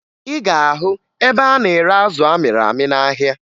Ị ga-ahụ ebe a na-ere azụ amịrị amị n'ahịa